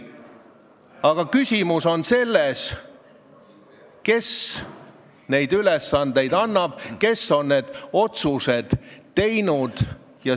Aga küsimus on selles, kes neid ülesandeid annab, kes on need otsused teinud.